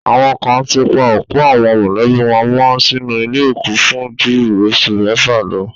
Àwọn kan ti pa òkú àwọn mọ̀lẹ́bí wọn mọ́ sínú ilé òkú fún ju oṣù mẹ́fà lọ.